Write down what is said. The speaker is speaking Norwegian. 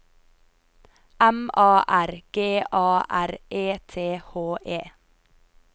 M A R G A R E T H E